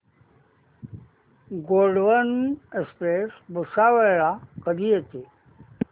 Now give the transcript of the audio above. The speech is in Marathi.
गोंडवन एक्सप्रेस भुसावळ ला कधी येते